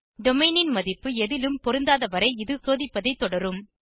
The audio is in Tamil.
டொமெயின் ன் மதிப்பு எதிலும் பொருந்தாதவரை இது சோதிப்பதை தொடரும்